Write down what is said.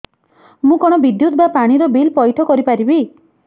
ମୁ କଣ ବିଦ୍ୟୁତ ବା ପାଣି ର ବିଲ ପଇଠ କରି ପାରିବି